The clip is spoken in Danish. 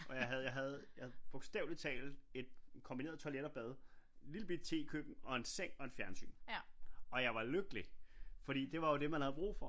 Og jeg havde bogstaveligt talt et kombineret toilet og bad lille bitte tekøkken og en seng og et fjernsyn og jeg var lykkelig fordi det var jo det man havde brug for